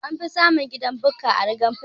Anfi samun gidan Bukka a rugan fulani